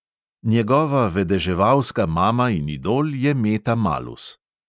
Njegova vedeževalska mama in idol je meta malus.